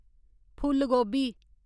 फुल गोभी